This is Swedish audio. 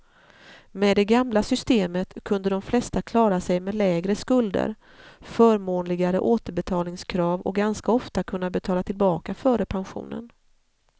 Med det gamla systemet kunde de flesta klara sig med lägre skulder, förmånligare återbetalningskrav och ganska ofta kunna betala tillbaka före pensionen.